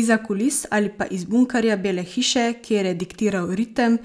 Izza kulis ali pa iz bunkerja Bele hiše, kjer je diktiral ritem,